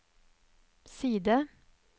side